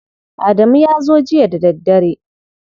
Adamu ya zo jiya da daddare.